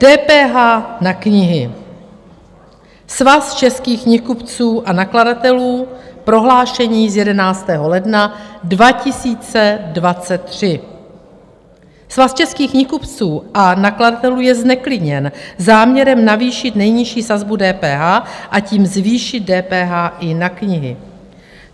DPH na knihy, Svaz českých knihkupců a nakladatelů, prohlášení z 11. ledna 2023: "Svaz českých knihkupců a nakladatelů je zneklidněn záměrem navýšit nejnižší sazbu DPH a tím zvýšit DPH i na knihy.